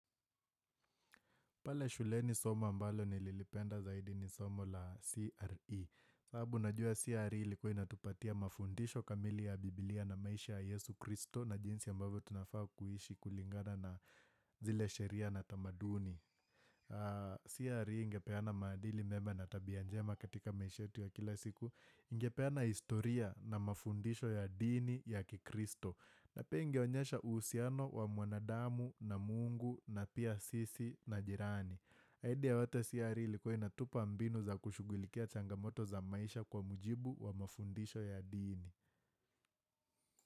Pale shuleni somo ambalo nililipenda zaidi ni somo la CRE. Sababu najua CRE ilikuwa inatupatia mafundisho kamili ya bibilia na maisha ya Yesu Kristo na jinsi ambavyo tunafaa kuishi kulingana na zile sheria na tamaduni. CRE ingepeana maadili mema na tabia njema katika maisha yetu ya kila siku. Ingepeana historia na mafundisho ya dini ya kikristo. Na pia ingeonyesha uhusiano wa mwanadamu na mungu na pia sisi na jirani. Haida ya yote, CRE ilikuwa inatupa mbinu za kushugulikia changamoto za maisha kwa mujibu wa mafundisho ya dini.